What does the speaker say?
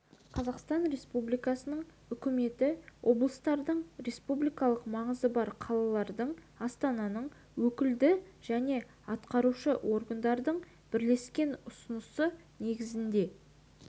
қазақстан республикасының үкіметі облыстардың республикалық маңызы бар қалалардың астананың өкілді және атқарушы органдарының бірлескен ұсынысы негізінде